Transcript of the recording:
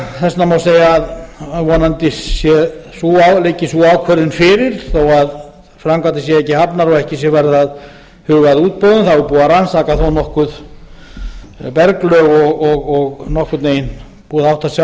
þess vegna má segja að vonandi liggi sú ákvörðun fyrir þó að framkvæmdir séu ekki hafnar og ekki sé farið að huga að útboðum það var búið að rannsaka þó nokkuð berglög og nokkurn veginn búið að átta sig á